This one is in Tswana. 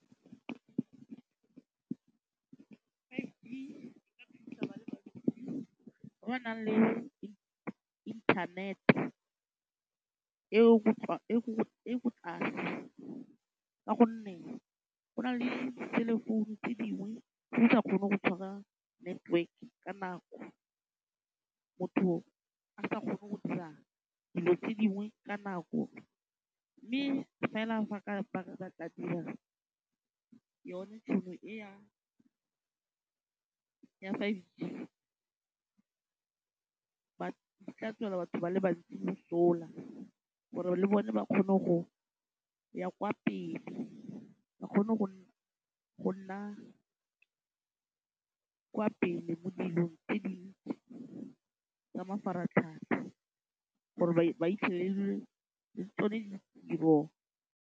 Ba le ba ntsi ba ba nang le internet- e e e ko tlase ka gonne go na le diselefounu tse dingwe tse di sa kgoneng go tshwara network ka nako. Motho a sa kgone go dira dilo tse dingwe ka nako mme fela fa yone tšhono e ya five G, . E tla tswela batho ba le bantsi mosola gore le bone ba kgone go ya kwa pele, ba kgone go nna kwa pele mo dilong tse di ntsi tsa mafaratlhatlha gore ba fitlhelele le tsone ditiro.